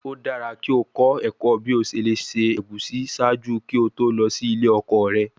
O dara ki o kọ ẹkọ bi o ṣe le ṣe egusi ṣaaju ki o to lọ si ile ọkọ rẹ